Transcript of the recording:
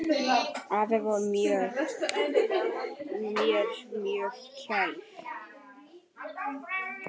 Afi var mér mjög kær.